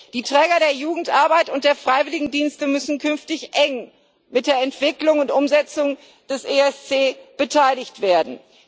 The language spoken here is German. Die Träger der Jugendarbeit und der Freiwilligendienste müssen künftig eng an der Entwicklung und Umsetzung des ESC beteiligt werden.